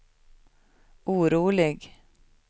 orolig